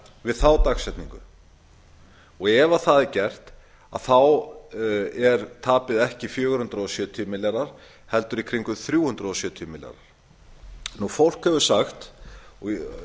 við þá dagsetningu ef það er gert er tapið ekki fjögur hundruð sjötíu milljarðar heldur í kringum þrjú hundruð sjötíu milljarðar fólk hefur sagt ég